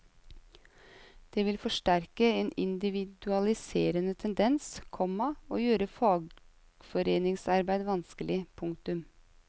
Det vil forsterke en individualiserende tendens, komma og gjøre fagforeningsarbeid vanskelig. punktum